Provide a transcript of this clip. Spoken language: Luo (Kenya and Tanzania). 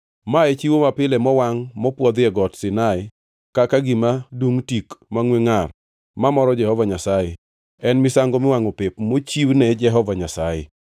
Ma e chiwo mapile mowangʼ mopwodhi e Got Sinai kaka gima dungʼ tik mangʼwe ngʼar mamoro Jehova Nyasaye, en misango miwangʼo pep mochiwne Jehova Nyasaye.